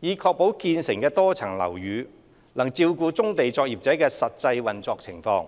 以確保建成的多層樓宇能照顧棕地作業者的實際運作情況。